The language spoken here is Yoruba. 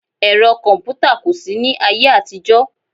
Ẹ̀rọ kọ̀mpútà kò sí ní ayé àtijọ́